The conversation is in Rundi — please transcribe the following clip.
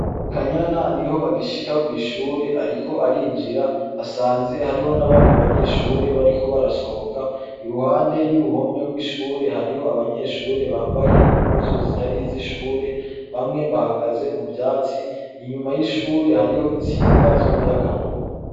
KANYANA niho agishika kw'ishure ariko arinjira, asanze hariho n'abandi banyeshure bariko barasohoka. Iruhande y'uruhome rw'ishure hariho abanyeshure bambaye impuzu zitari iz'ishure. Bamwe bahagaze mu vyatsi. Inyuma y'ishure hariho instinga z'umuyagankuba.